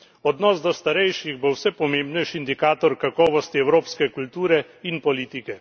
Odnos do starejših bo vse pomembnejši indikator kakovosti evropske kulture in politike.